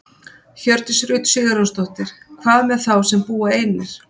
Hjördís Rut Sigurjónsdóttir: Hvað með þá sem að búa einir?